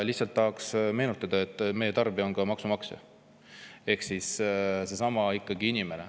Lihtsalt tahaks meenutada, et meie tarbija on ka maksumaksja ehk seesama inimene.